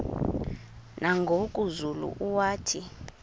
nangoku zulu uauthi